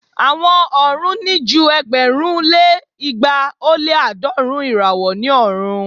Awọn ọrun ni ju ẹgbẹ̀rún lé igba o lé aadọrun irawo ni ọrun.